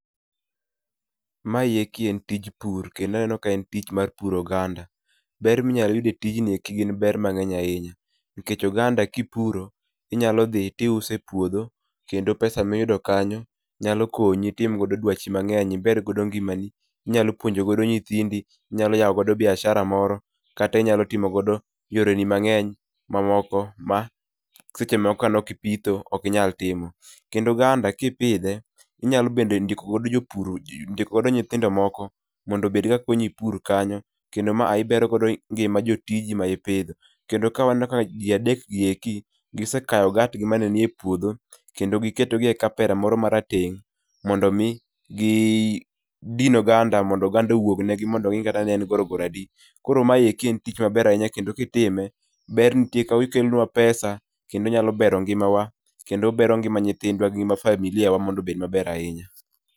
Ma eki en tich pur, kendo aneno ka en tij puro oganda. Ber ma inyolo yud etijni gin ber mangeny ahinya. Nikech oganda ka ipuro, inyalo dhi to iuse e puodho, kendo pesa miyudo kanyo nyalo konyi e dwachi mangeny, iber godo ngimani, inyalo puonjo godo nyithindi, inyalo yawo godo boiashara moro, kata inyalo timo godo yore ni moko mangeny ma moko ma seche moko ka nokipitho ok inyal timo. Kendo oganda kipidhe inyalo ndikogo jopur nyithindo moko mondo obed ka konyi pur kanyo , kendo maa ibero go ngima jotiji ma ipidho. kendo maa aneno ka ji adekgi eki gisekayo ogat gi mane ni e puodho, kendo giketo gi e kapera moro marateng', mono mi gidin oganda mondo oganda owuognegi, mondo gi ng'e ni en goro goro adi. Koro ma eki en tich maber ahinya kendo kitime, ber nitie ka okelonwa pesa, kendo onyalo bero ngima wa, kendo obero ngima nythindwa gi ngima familia wa mondo obed maber ahinya.